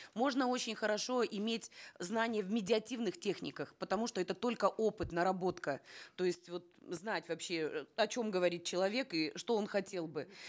можно очень хорошо иметь знания в медиативных техниках потому что это только опыт наработка то есть вот знать вообще э о чем гововрит человек и что он хотел бы